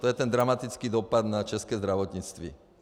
To je ten dramatický dopad na české zdravotnictví.